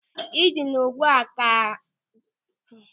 Ndina ụ̀gwa ka ga-abụ arụ n'ala Igbo ruo áfọ̀ iri abụọ na-abịa abịa.